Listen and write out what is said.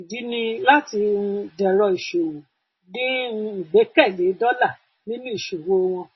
ìdí ni láti um dẹrọ ìṣòwò dín um ìgbẹkẹlé dólà nínú ìṣòwò wọn